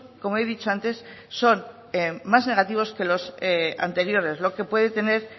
como he dicho antes son más negativos que los anteriores lo que puede tener